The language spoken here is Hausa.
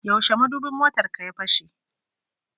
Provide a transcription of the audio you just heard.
Yaushe madubin motarka ya fashe?